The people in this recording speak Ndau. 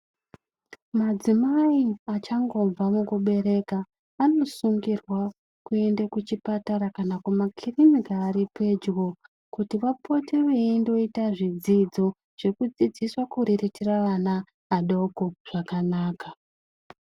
Madzimai achangobva mukubereka anosungirwa kuenda kuchipatara kana zvibhehlera zviri pedyo. Kuti vapote veindoita zvidzidzo zvekudzidziswa kuriritira ana adoko zvakanaka.